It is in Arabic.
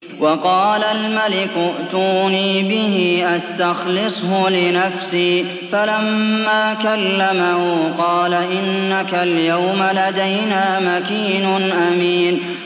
وَقَالَ الْمَلِكُ ائْتُونِي بِهِ أَسْتَخْلِصْهُ لِنَفْسِي ۖ فَلَمَّا كَلَّمَهُ قَالَ إِنَّكَ الْيَوْمَ لَدَيْنَا مَكِينٌ أَمِينٌ